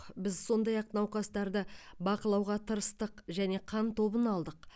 біз сондай ақ науқастарды бақылауға тырыстық және қан тобын алдық